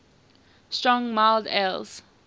strong mild ales